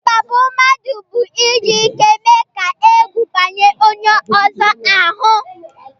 ikpágbù mmadụ bụ iji ike mee ka ègwù banye onye ọzọ ahụ